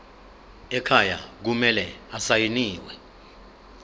ekhaya kumele asayiniwe